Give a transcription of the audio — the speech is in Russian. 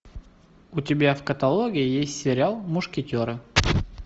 у тебя в каталоге есть сериал мушкетеры